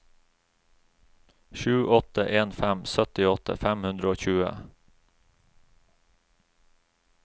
sju åtte en fem syttiåtte fem hundre og tjue